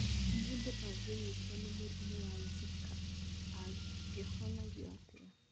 Mũndũ angĩnyitwo nĩ mũrimũ wa Zika angĩhonagio atĩa?